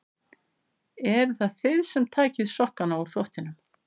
Eruð það þið sem takið sokkana úr þvottinum?